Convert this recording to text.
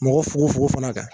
Mɔgɔ fogo fogo fana kan